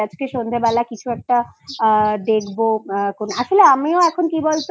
আজকে সন্ধ্যেবেলা কিছু একটা দেখবো আসলে আমিও এখন কি